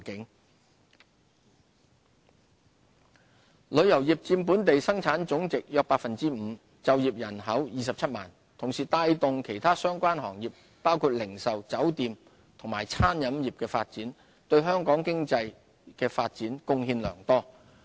旅遊業旅遊業佔本地生產總值約 5%， 就業人口約27萬，同時亦帶動其他相關行業包括零售、酒店及餐飲業的發展，對香港經濟發展貢獻良多。